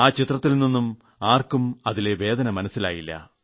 ആ ചിത്രത്തിൽ നിന്നും ആർക്കും അതിലെ വേദന മനസ്സിലായില്ല